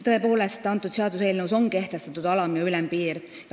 Tõepoolest, seaduseelnõus on kehtestatud alam- ja ülempiir.